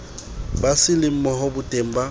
ba se lemohe boteng ba